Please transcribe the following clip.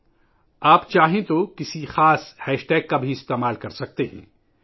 اگر آپ چاہیں تو ایک مخصوص ہیش ٹیگ بھی استعمال کر سکتے ہیں